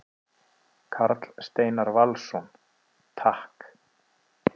Karl Steinar Valsson: Takk.